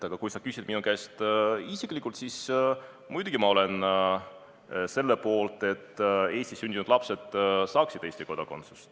Aga kui sa küsid minu käest isiklikult, siis muidugi ma olen selle poolt, et Eestis sündinud lapsed saaksid Eesti kodakondsuse.